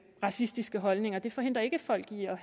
racistiske holdninger og det forhindrer ikke folk i